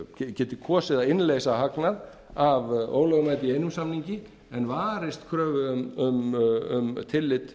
geti kosið að innleysa hagnað af ólögmæti í einum samningi en varist kröfu um tillit